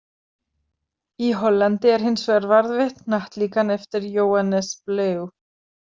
Í Hollandi er hins vegar varðveitt hnattlíkan eftir Joannes Blaeu.